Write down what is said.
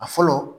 A fɔlɔ